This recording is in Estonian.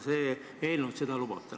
See eelnõu seda lubab.